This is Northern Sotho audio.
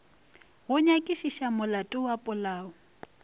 go nyakišiša molato wa polao